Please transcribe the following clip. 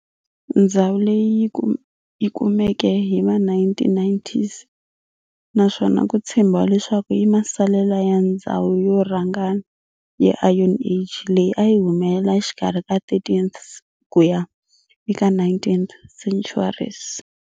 Ndzhawu leyi yikumeke hiva 1990s naswona kutshembiwa leswaku i masalela ya ndzhawu yo rharhangana ya Iron Age leyi ayi humelela exikarhi ka 13th kuya eka 19th centuries.